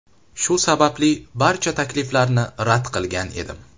Shu sababli barcha takliflarni rad qilgan edim.